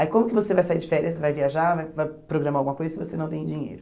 Aí como que você vai sair de férias, você vai viajar, vai vai programar alguma coisa se você não tem dinheiro?